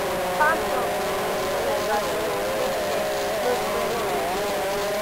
farm dog suppose collect vaccine too make dem no spread rabies